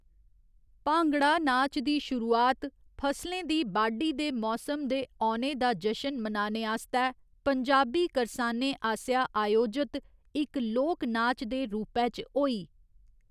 भांगड़ा नाच दी शुरुआत फसलें दी बाड्ढी दे मौसम दे औने दा जशन मनाने आस्तै पंजाबी करसानें आसेआ अयोजत इक लोक नाच दे रूपै च होई।